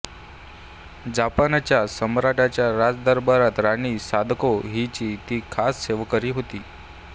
जपानच्या सम्राटाच्या राजदरबारात राणी सादाको हिची ती खास सेवेकरी होती